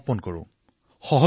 কেৱল সন্মান প্ৰদানৰ কথা কোৱা নাই